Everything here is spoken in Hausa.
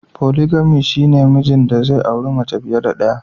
"Polygamy" shine na mijin da zai auri mace fiye da daya".